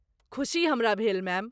खुशी हमरा भेल मैम।